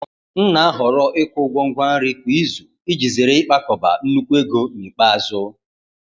M na-ahọrọ ikwụ ụgwọ ngwa nri kwa izu iji zere ịkpakọba nnukwu ego n’ikpeazụ.